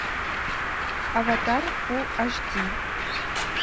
аватар фул аш ди